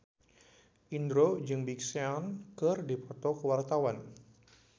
Indro jeung Big Sean keur dipoto ku wartawan